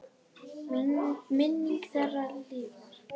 Minning þeirra lifir.